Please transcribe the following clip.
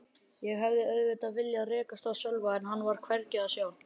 Ég hefði auðvitað viljað rekast á Sölva en hann var hvergi að sjá.